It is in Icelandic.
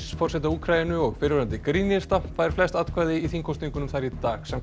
forseta Úkraínu og fyrrverandi grínista fær flest atkvæði í þingkosningunum þar í dag samkvæmt